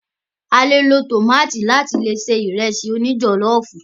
A lò lo tómátì láti se Ìrẹ́sì òní jọ̀lọ́ọ̀fù